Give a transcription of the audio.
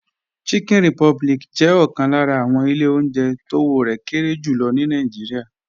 Chicken Republic jẹ́ ọ̀kan lára àwọn ilé oúnjẹ tówó rẹ̀ kéré jù lọ ní Nàìjíríà